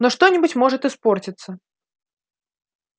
но что-нибудь может испортиться